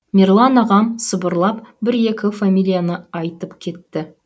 мерлан ағам сыбырлап бір екі фамилияны айтып кетті